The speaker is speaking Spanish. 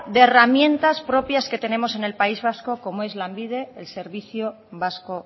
de herramientas propias que tenemos en el país vasco como es lanbide el servicio vasco